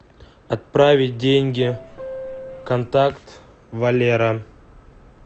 отправить деньги контакт валера